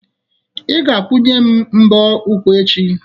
Ị ga-akwunye m mbọ ụkwụ echi